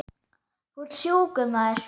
Þú ert sjúkur maður.